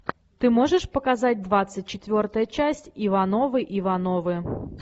ты можешь показать двадцать четвертая часть ивановы ивановы